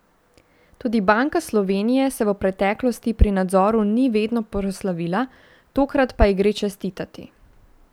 Tudi Banka Slovenije se v preteklosti pri nadzoru ni vedno proslavila, tokrat pa ji gre čestitati.